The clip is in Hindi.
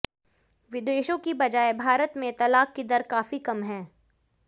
विदेशों की बजाए भारत में तलाक की दर काफी कम है